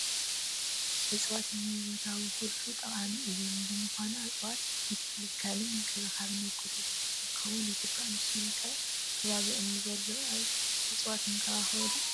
እፅዋት ንህይወታዊ ኩሉ ጠቐምቲ እዮም፡፡ ብምዃኑ እፅዋት ምትካልን ምንክብኻብና ናይ ኩሉ ግዴታ ክኾን ይግባእ፡፡ ንሶም ኣብ ከባቢኦም ንዘሎ እፅዋት ይንከባኸቡ ዶ?